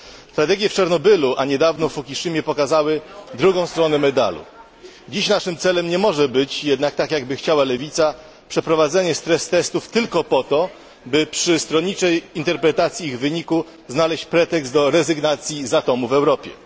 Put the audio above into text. Tragedie w Czarnobylu, a niedawno w Fukushimie pokazały drugą stronę medalu. Dziś naszym celem nie może być jednak, jak by chciała lewica, przeprowadzenie stress testów tylko po to, by przy stronniczej interpretacji ich wyników znaleźć pretekst do rezygnacji z atomu w Europie.